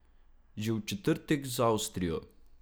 Že v četrtek z Avstrijo.